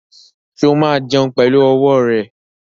Ṣé ó máa jẹun pẹ̀lú ọwọ́ rẹ̀?